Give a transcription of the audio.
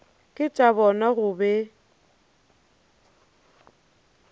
ke tša bona go be